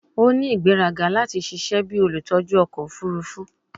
O ni igberaga lati ṣiṣẹ bi olutọju ọkọ ofurufu